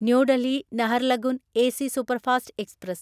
new Delhi Naharlagun AC superfast express